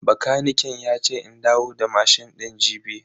Bakaniken yace in dawo da mashin din jibi.